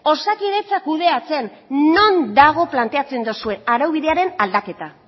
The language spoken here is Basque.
osakidetza kudeatzen non dago planteatzen dozuen araubidearen aldaketa